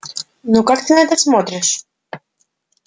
ну как ты на это смотришь